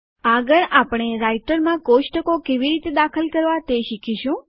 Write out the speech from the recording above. આગળ આપણે રાઈટરમાં કોષ્ટકો કેવી રીતે દાખલ કરવા તે શીખીશું